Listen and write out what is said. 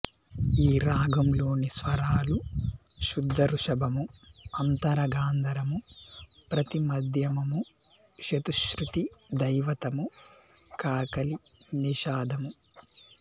ఈ రాగంలోని స్వరాలు శుద్ధ ఋషభము అంతర గాంధారము ప్రతి మధ్యమము చతుశ్రుతి ధైవతము కాకలి నిషాధము